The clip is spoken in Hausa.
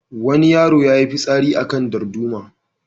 Wani yaro ya yi fitsari a kan darduma.